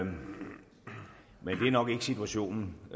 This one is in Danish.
nok ikke situationen